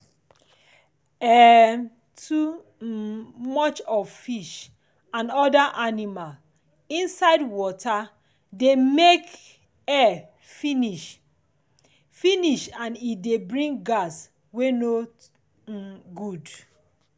um too um much of fish and other animal inside water de make air finish finish and e dey bring gas wey no um good